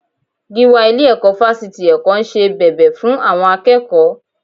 Gíwá ilé-ẹ̀kọ́ Fásitì Èkó ń ṣe bẹbẹ fún àwọn akẹ́kọ̀ọ́